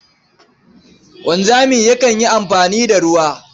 Wanzami yakan yi amfani da ruwa.